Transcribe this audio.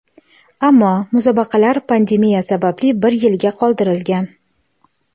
ammo musobaqalar pandemiya sababli bir yilga qoldirilgan.